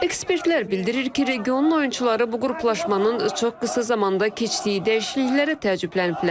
Ekspertlər bildirir ki, regionun oyunçuları bu qruplaşmanın çox qısa zamanda keçdiyi dəyişikliklərə təəccübləniblər.